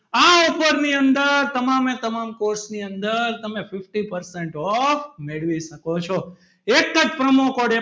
આ Offer ની અંદર તમામ એ તમામ course ની અંદર તમે fifty percent off મેળવી શકો છો એક જ promo code